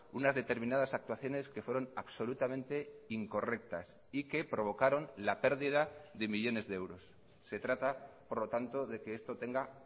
unas determinadas actuaciones que fueron absolutamente incorrectas y que provocaron la pérdida de millónes de euros se trata por lo tanto de que esto tenga